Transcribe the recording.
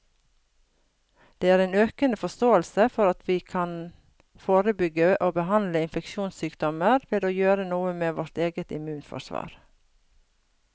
Det er en økende forståelse for at vi kan forebygge og behandle infeksjonssykdommer ved å gjøre noe med vårt eget immunforsvar.